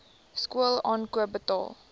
skool aankoop betaal